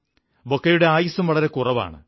ബൊക്കെയുടെ ആയുസ്സും വളരെ കുറവാണ്